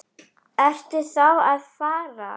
Ertu þá að fara?